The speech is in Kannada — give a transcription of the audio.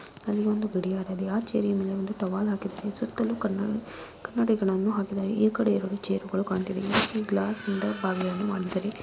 ಅಲ್ಲಿ ಒಂದು ಗಡಿಯಾರ ಇದೆ ಆ ಚೇರಿನ ಮೇಲೆ ಟವಲ್ ಹಾಕಿದ್ದಾರೆ ಸುತ್ತಲೂ ಕನ್ನಡಿ ಕನ್ನಡಿಗಳನ್ನು ಹಾಕಿದ್ದಾರೆ ಈ ಕಡೆಯಲ್ಲಿ ಎರಡು ಚೇರುಗಳು ಕಾಣ್ತಿವೆ ಈ ರೀತಿ ಗ್ಲಾಸಿನಿಂದ ಬಾಗಿಲನ್ನು ಮಾಡಿದ್ದಾರೆ.